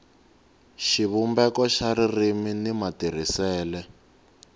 xivumbeko xa ririmi ni matirhisele